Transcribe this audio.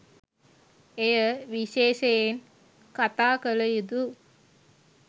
එය විශේෂයෙන් කතා කළ යුතු